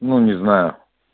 ну не знаю